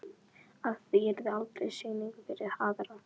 Að í því yrði aldrei sýning fyrir aðra.